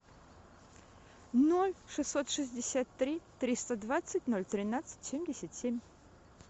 ноль шестьсот шестьдесят три триста двадцать ноль тринадцать семьдесят семь